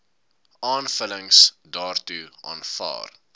aanvullings daartoe aanvaar